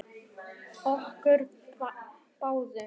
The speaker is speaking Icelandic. Okkur báðum?